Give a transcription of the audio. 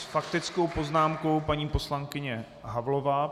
S faktickou poznámkou paní poslankyně Havlová.